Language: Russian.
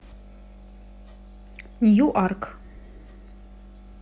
ньюарк